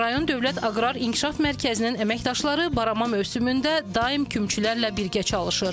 Rayon Dövlət Aqrar İnkişaf Mərkəzinin əməkdaşları barama mövsümündə daim kümlərlə birgə çalışır.